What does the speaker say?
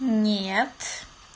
нет